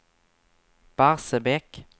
Barsebäck